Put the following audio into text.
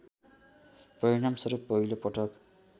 परिणामस्वरूप पहिलो पटक